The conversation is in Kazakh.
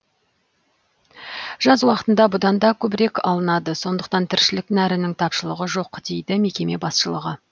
жаз уақытында бұдан да көбірек алынады сондықтан тіршілік нәрінің тапшылығы жоқ дейді мекеме басшылығы